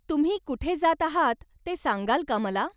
तुम्ही कुठे जात आहात ते सांगाल का मला ?